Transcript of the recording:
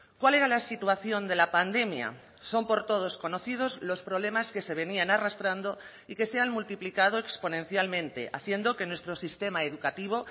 cuál era la situación de la pandemia son por todos conocidos los problemas que se venían arrastrando y que se han multiplicado exponencialmente haciendo que nuestro sistema educativo